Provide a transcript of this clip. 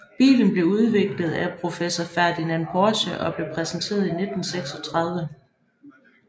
Bilen blev udviklet af professor Ferdinand Porsche og blev præsenteret i 1936